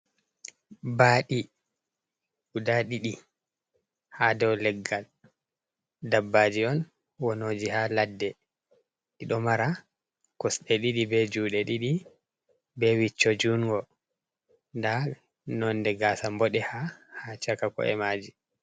Baaɗi, guda ɗiɗi ha dow leggal, dabbaji on wonoji ha ladde, ɗi ɗo mara kosɗe ɗiɗi be juɗe ɗiɗi be wicco jungo, nda nonde gasa mboɗe ha, ha chaka ko’e maji.